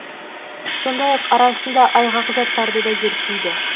сондай ақ арасында айғақ заттарды да зерттейді